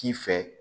K'i fɛ